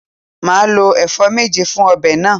Màá lo èfó méje fun obè náà